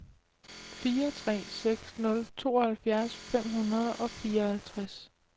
fire tre seks nul tooghalvfjerds fem hundrede og fireoghalvtreds